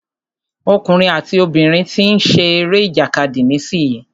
Ọkùnrin àti obìnrin tí ń ṣe eré ìjàkadì nísìyí.